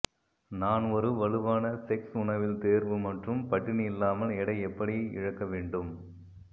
நான் ஒரு வலுவான செக்ஸ் உணவில் தேர்வு மற்றும் பட்டினி இல்லாமல் எடை எப்படி இழக்க வேண்டும்